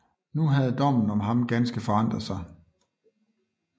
Nu havde dommen om ham ganske forandret sig